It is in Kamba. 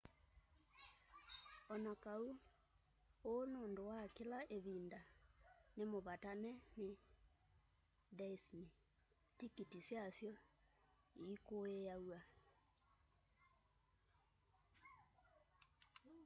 onakaũ ũũ nũndũ wa kĩla ĩvĩnda nĩ mũvatane nĩ dĩsney tĩkĩtĩ syasyo ĩkũĩaw'a